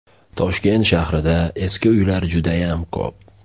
Toshkent shahrida eski uylar judayam ko‘p.